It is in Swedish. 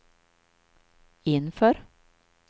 inför